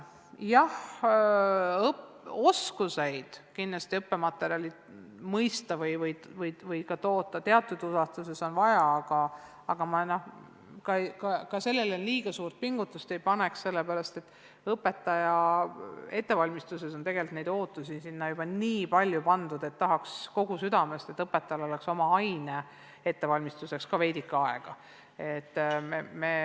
Jah, oskusi õppematerjali mõista või ka teatud ulatuses koostada on vaja, aga ma sellele liiga suurt rõhu ei paneks, sest õpetaja ettevalmistuses on neid ootusi tegelikult juba niigi palju, et tahaks kogu südamest, et õpetajale jääks veidike aega ka oma aine ettevalmistamiseks.